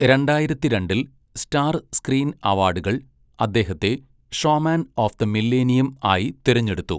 രണ്ടായിരത്തിരണ്ടിൽ star screen അവാഡുകൾ അദ്ദേഹത്തെ 'showman of the millennium' ആയി തിരഞ്ഞെടുത്തു.